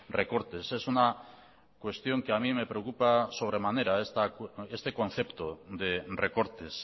recortes es una cuestión que a mí me preocupa sobremanera este concepto de recortes